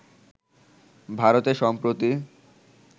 ভারতে সম্প্রতি